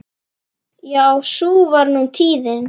Já sú var nú tíðin.